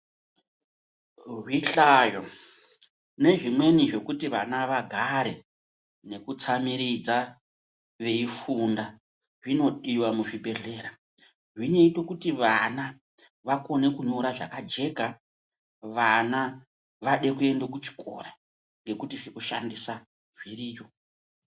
Zvihlayo nezvimweni zvekuti vana vagare nekutsamiridza veifunda zvinodiwa michikora zvinoite kuti vana vakone kunyora zvakajeka vana vade kuenda kuchikora ngekuti zvekushandisa zviriyo.